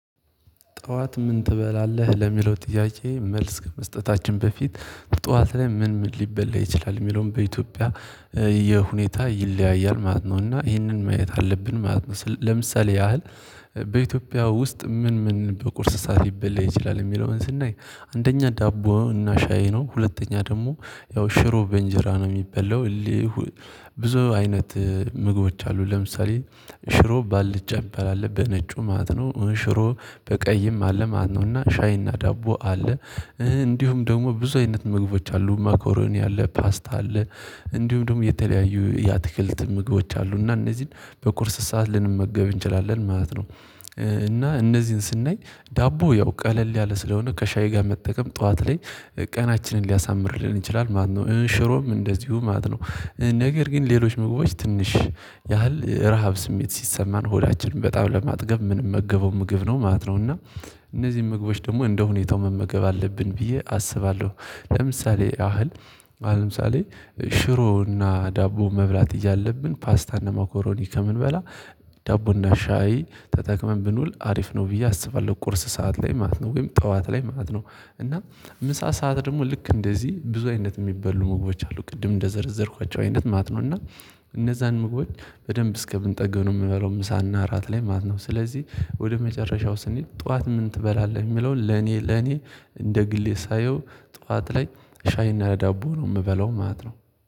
ጠዋት ምን ትበላለህ? ለሚለው ጥያቄ መልስ ከመስጠታችን በፊት ጠዋት ላይ ምን ምን ሊበላ ይችላል? ሚለውን በኢትዮጵያ የሁኔታ ይለያያል ማለት ነው። እና ይሄንን ማየት አለብን ማለት ነው። ለምሳሌ ያህል በኢትዮጵያ ውስጥ ምን ምን በቁርስ ሰዓት ሊበላ ይችላል? የሚለውን ስናይ አንደኛ ዳቦ እና ሻይ ነው ሁለተኛ ደግሞ ያው ሽሮ በንጀራ ነው የሚበላው ብዙ አይነት ምግቦች አሉ ለምሳሌ ሽሮ በአልጫ ሚባል አለ በነጩ ማለት ነው። ሽሮ በቀይም አለ ማለት ነው እና ሻይና ዳቦ አለ። እንዲሁም ደግሞ ብዙ አይነት ምግቦች አሉ ማኮሮኒ አለ ፓስታ አለ። እንዲሁም ደግሞ የተለያዩ የአትክልት ምግቦች አሉ። እና እነዚህን በቁርስ ሰዓት ልንመገብ እንችላለን ማለት ነው። እና እነዚህን ስናይ ዳቦ ያው ቀለል ያለ ስለሆነ ከሻይ ጋር መጠቀም ጠዋት ላይ ቀናችንን ሊያሳምርልን ይችላል ማለት ነው። ሽሮም እንደዚሁ ማለት ነው ነገር ግን ሌሎች ምግቦች ትንሽ ያህል ረሃብ ስሜት ሲሰማን ሆዳችንን በጣም ለማጥገብ ምንመገበው ምግብ ነው ማለት ነው። እና እነዚህን ምግቦች ደግሞ እንደሁኔታው መመገብ አለብን ብዬ አስባለሁ ለምሳሌ ያህል ለምሳሌ ሽሮና ዳቦ መብላት እያለብን ፓስታና መኮሮኒ ከምንበላ ዳቦና ሻይ ተጠቅመን ብንውል አሪፍ ነው ብዬ አስባለሁ። ቁርስ ሰዓት ላይ ማለት ነው ወይም ጠዋት ላይ ማለት ነው። እና ምሳ ሰዓት ደግሞ ልክ እንደዚህ ብዙ አይነት ሚበሉ ምግቦች አሉ። ቅድም እንደዘረዘርኳቸው አይነት ማለት ነው። እና እነዛን ምግቦች በደንብ እስከምንጠግብ ምንበላው ምሳና እራት ላይ ማለት ነው። ስለዚህ ወደ መጨረሻው ስንሄድ ጠዋት ምን ትበላለህ? ሚለውን ለኔ ለኔ እንደ ግሌ ሳየው ጠዋት ላይ ሻይና ዳቦ ነው ምበለው ማለት ነው።